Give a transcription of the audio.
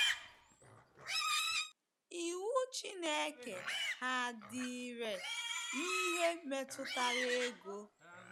Iwu Chineke ha dị irè n’ihe metụtara ego?